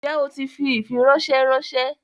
Njẹ̀ o ti fi ifiransẹ ránṣẹ?